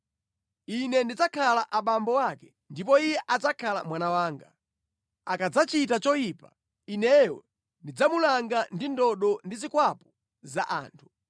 Ine ndidzakhala abambo ake, ndipo iye adzakhala mwana wanga. Akadzachita choyipa, Ineyo ndidzamulanga ndi ndodo ndi zikwapu za anthu.